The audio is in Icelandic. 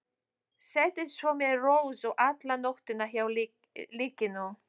Setið svo með Rósu alla nóttina hjá líkinu.